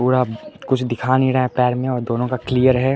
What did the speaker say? पूरा कुछ दिखा नहीं रहा है पैर में दोनों का क्लियर है।